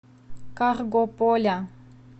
каргополя